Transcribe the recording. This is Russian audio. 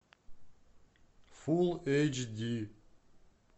фулл эйч ди